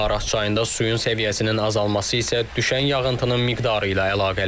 Araz çayında suyun səviyyəsinin azalması isə düşən yağıntının miqdarı ilə əlaqəlidir.